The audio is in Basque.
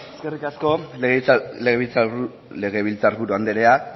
eskerrik asko legebiltzar buru andrea